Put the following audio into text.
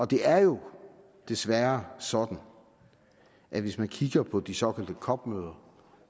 det er jo desværre sådan at hvis man kigger på de såkaldte cop møder